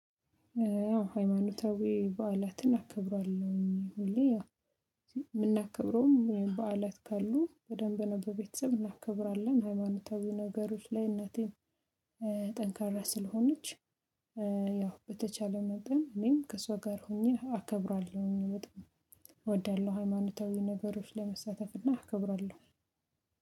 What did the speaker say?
ሃይማኖታዊ በዓላትን አከብራለሁኝ ሁሌ ያው የምናከብረውም በዓላት ካሉ በደንብ ነው በቤተሰብ እናከብራለን። ሃይማኖታዊ ነገሮች ላይ እናቴን ጠንካራ ስለሆነች ያው በተቻለ መጠን እኔም ከሷ ጋር ሆኜ አከብራለሁኝ። በጣም እወዳለሁ ሃይማኖታዊ ነገሮች ላይ መሳተፍ እና አከብራለሁ።